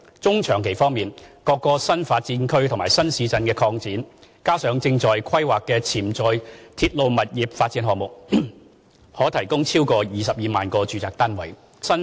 中長期方面，各個新發展區和新市鎮擴展，加上正在規劃的潛在鐵路物業發展項目，可提供超過22萬個住宅單位。